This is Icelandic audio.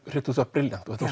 brilliant og þetta